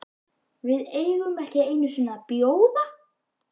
VIÐ EIGUM EKKI EINU SINNI AÐ BJÓÐA